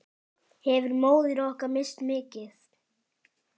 Hefur móðir okkar misst mikið.